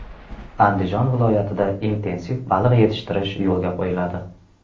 Andijon viloyatida intensiv baliq yetishtirish yo‘lga qo‘yiladi.